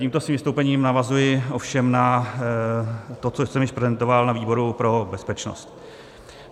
Tímto svým vystoupením navazuji ovšem na to, co jsem již prezentoval na výboru pro bezpečnost.